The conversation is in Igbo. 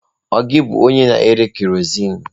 Ọ gị bụ onye na-ere kerọsinụ?